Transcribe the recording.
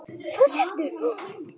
Hvað sérðu?